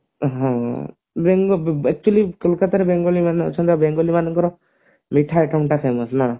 ହଁ actually କୋଲକତାର ଯେଉଁମାନେ ଅଛନ୍ତି ଏବେ ବେଙ୍ଗଲି ମାନଙ୍କର ମିଠା ନା